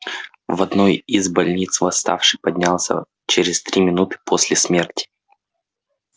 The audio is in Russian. в одной из больниц восставший поднялся через три минуты после смерти